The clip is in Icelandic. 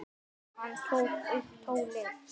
Hann tók upp tólið.